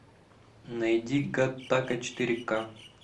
найди гаттака четыре ка